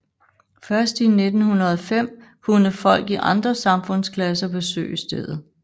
Først i 1905 kunne folk i andre samfundsklasser besøge stedet